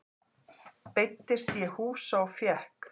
Beiddist ég húsa og fékk.